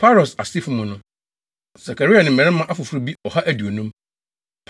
Paros asefo mu no: Sakaria ne mmarima afoforo bi ɔha aduonum.